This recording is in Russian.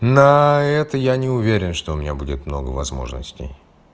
на это я не уверен что у меня будет много возможностей